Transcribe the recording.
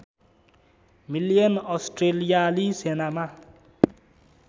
million अस्ट्रेलियाली सेनामा